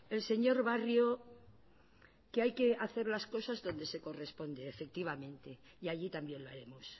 el señor barrio que hay que hacer las cosas donde se corresponde efectivamente y allí también lo haremos